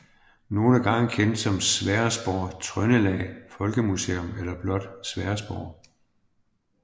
Nogle gange kendt som Sverresborg Trøndelag Folkemuseum eller blot Sverresborg